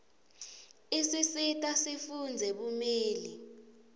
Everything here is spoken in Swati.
isisita sifundzele bumeli